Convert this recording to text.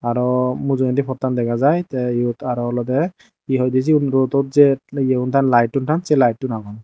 aro mujungedi pottan dega jai tey iyot aro olodey hi hoidey siyun rodot jei yegun taan laettun taan sei laettun agon.